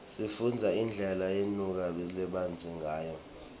sifunbza indlela unutfu labzaleke ngayo